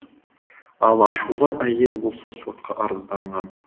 ал ашулы әйел болса сотқа арызданған